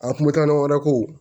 A kun bɛ taa ɲɔgɔn wɛrɛ ko